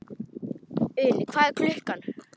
Uni, hvað er klukkan?